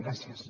gràcies